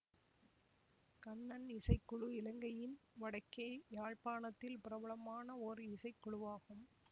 கண்ணன் இசைக்குழு இலங்கையின் வடக்கே யாழ்ப்பாணத்தில் பிரபலமான ஓர் இசைக்குழுவாகும்